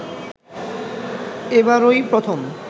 এবারই প্রথম